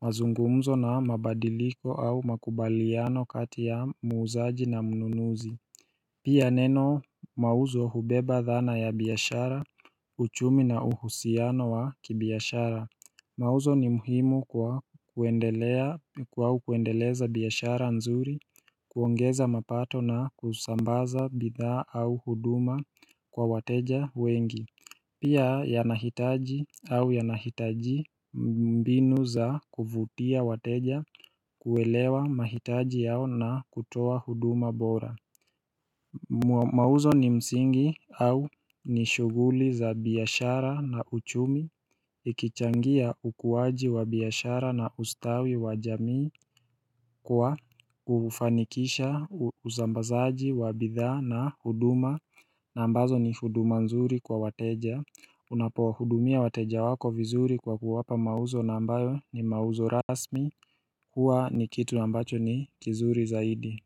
mazungumzo na mabadiliko au makubaliano kati ya muuzaji na mnunuzi Pia neno mauzo hubeba dhana ya biashara uchumi na uhusiano wa kibiashara Mauzo ni muhimu kwa kuendeleza biashara nzuri, kuongeza mapato na kusambaza bidhaa au huduma kwa wateja wengi Pia yanahitaji au yanahitaji mbinu za kuvutia wateja kuelewa mahitaji yao na kutoa huduma bora Muazo ni msingi au ni shuguli za biashara na uchumi Ikichangia ukuwaji wa biashara na ustawi wa jamii kwa ufanikisha usambazaji wa bidhaa na huduma na ambazo ni huduma nzuri kwa wateja Unapohudumia wateja wako vizuri kwa kuwapa mauzo na ambayo ni mauzo rasmi huwa ni kitu ambacho ni kizuri zaidi.